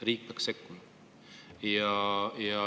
Riik peaks sekkuma.